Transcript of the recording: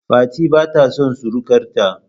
Fati bata son surukar ta